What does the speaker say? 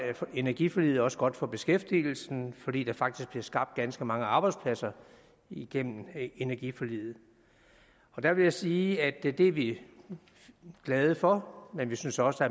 energiforliget også godt for beskæftigelsen fordi der faktisk bliver skabt ganske mange arbejdspladser igennem energiforliget der vil jeg sige at det er vi glade for men vi synes også